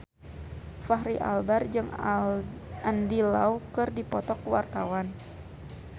Fachri Albar jeung Andy Lau keur dipoto ku wartawan